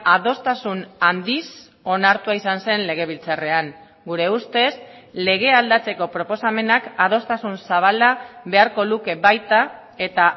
adostasun handiz onartua izan zen legebiltzarrean gure ustez legea aldatzeko proposamenak adostasun zabala beharko luke baita eta